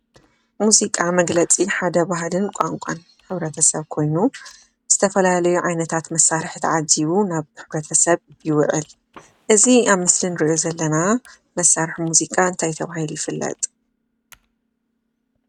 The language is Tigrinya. ሙዚቃ መግለፂ ሓደ ባህልን ቋንቋን ሕብረተሰብ ኮይኑ ዝተፈላለዩ ዓይነታት መሳርሕታት ተዓጂቡ ናብ ሕብረተሰብ ይውዕል እዚ ኣብ ምስሊ እንሪኦ ዘለና መሳርሒ ሙዚቃ እንታይ ተባሂሉ ይፍለጥ?